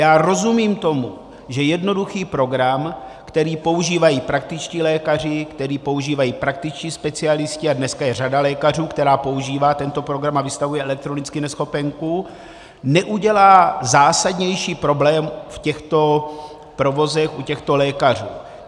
Já rozumím tomu, že jednoduchý program, který používají praktičtí lékaři, který používají praktičtí specialisté, a dneska je řada lékařů, která používá tento program a vystavuje elektronicky neschopenku, neudělá zásadnější problém v těchto provozech u těchto lékařů.